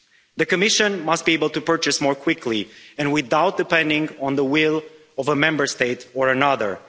The Commission must be able to purchase more quickly and without depending on the will of one Member State or another.